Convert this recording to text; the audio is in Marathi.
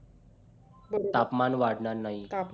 तापमान वाढणार नाही